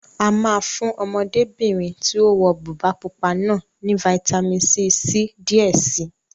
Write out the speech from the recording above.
A máa fún Ọmọdébìnrin tí ó wọ bùbá pupa náà ní fitamisi C díẹ̀ si